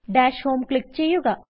dash Homeക്ലിക്ക് ചെയ്യുക